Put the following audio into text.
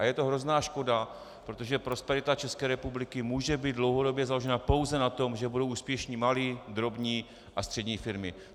A je to hrozná škoda, protože prosperita České republiky může být dlouhodobě založena pouze na tom, že budou úspěšné malé, drobné a střední firmy.